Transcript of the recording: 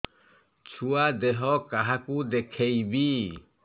ଛୁଆ ଦେହ କାହାକୁ ଦେଖେଇବି